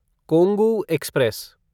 Kongu express